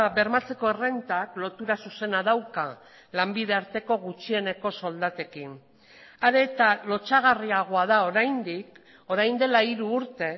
bermatzeko errentak lotura zuzena dauka lanbide arteko gutxieneko soldatekin are eta lotsagarriagoa da oraindik orain dela hiru urte